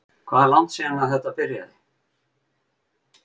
Hvað er langt síðan að þetta byrjaði?